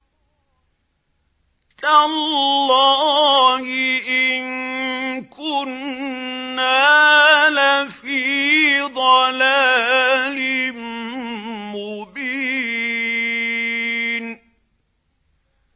تَاللَّهِ إِن كُنَّا لَفِي ضَلَالٍ مُّبِينٍ